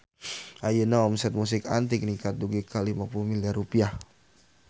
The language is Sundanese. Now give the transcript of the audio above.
Ayeuna omset Musik Antik ningkat dugi ka 50 miliar rupiah